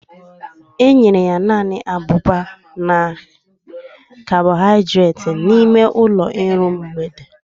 Enyere ya naanị abụba na kabọhaidreeti n'ime ụlọ iru mgbede